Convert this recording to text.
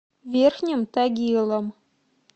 верхним тагилом